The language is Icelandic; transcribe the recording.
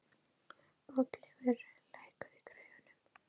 Oddleifur, lækkaðu í græjunum.